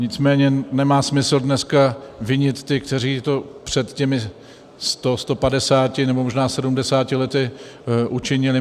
Nicméně nemá smysl dneska vinit ty, kteří to před těmi 100, 150 nebo možná 70 lety učinili.